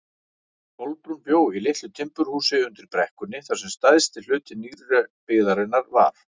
Kolbrún bjó í litlu timburhúsi undir brekkunni þar sem stærsti hluti nýrri byggðarinnar var.